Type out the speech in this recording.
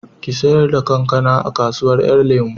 Ki sayar da kankanan a kasuwan 'yan lemo